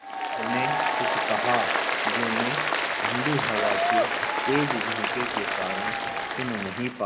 उन्होंने कुछ कहा जो मैं ठण्डी हवा के तेज़ झोंके के कारण सुन नहीं पाया